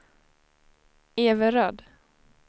Everöd